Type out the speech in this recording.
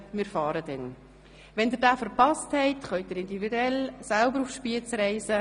Sollten Sie den Zug verpassen, können Sie individuell selber nach Spiez reisen.